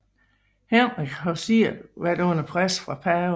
Henrik havde selv været under pres fra paven